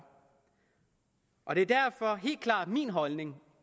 og det er derfor helt klart min holdning